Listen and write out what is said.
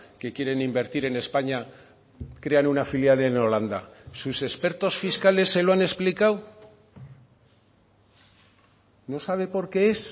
que quieren invertir en españa crean una filial en holanda sus expertos fiscales se lo han explicado no sabe por qué es